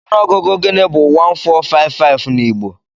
Ọnụọgụ gịnị bú 1455 na Igbo?